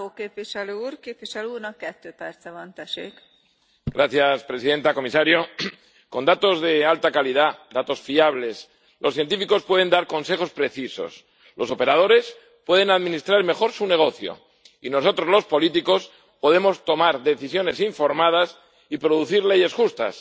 Señora presidenta, comisario, con datos de alta calidad, datos fiables, los científicos pueden dar consejos precisos, los operadores pueden administrar mejor su negocio y nosotros, los políticos, podemos tomar decisiones informadas y producir leyes justas.